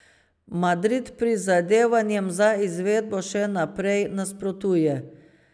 Madrid prizadevanjem za izvedbo še naprej nasprotuje.